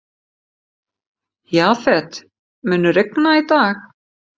Jafet, mun rigna í dag?